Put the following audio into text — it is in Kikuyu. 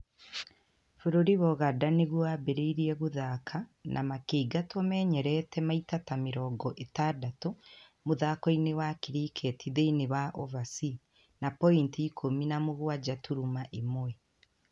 Bũrũri wa Ũganda nĩguo wambĩrĩirie gũthaaka na makĩingatwo menyerete maita ta mĩrongo itandatu mũthako-inĩ wa kiriketi thĩinĩ wa overs na poiniti ikũmi na mũgwanja turuma ĩmwe.